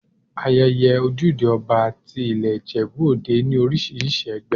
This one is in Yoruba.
Ayẹyẹ Ojúde Ọba ti i ilé Ìjẹ̀bú Òde ní oríṣiríṣi ẹgbẹ́.